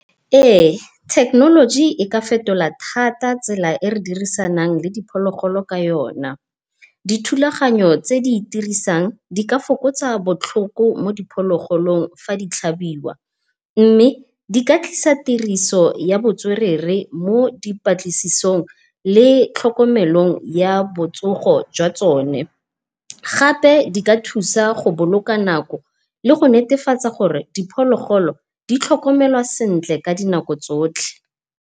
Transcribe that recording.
Ee thekenoloji e ka fetola thata tsela e re dirisanang le diphologolo ka yona. Dithulaganyo tse di itirisang di ka fokotsa botlhoko mo di phologolong fa di tlhabiwa, mme di ka tlisa tiriso ya botswerere mo dipatlisisong le tlhokomelong ya botsogo jwa tsone. Gape di ka thusa go boloka nako le go netefatsa gore diphologolo di tlhokomelwa sentle ka di nako tsotlhe.